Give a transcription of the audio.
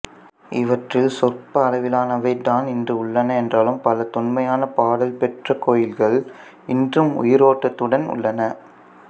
இவற்றில் சொற்ப அளவிலானவை தான் இன்று உள்ளன என்றாலும் பல தொன்மையான பாடல் பெற்ற கோயில்கள் இன்றும் உயிரோட்டத்துடன் உள்ளன